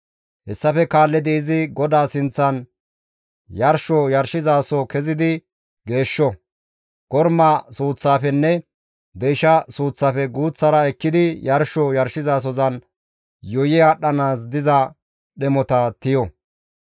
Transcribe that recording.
Hessafe kaallidi izi GODAA sinththan yarsho yarshizaso kezidi geeshsho; korma suuththafenne deysha suuththafe guuththara ekkidi yarsho yarshizasozan yuuyi aadhdhanaas diza dhemota tiyo.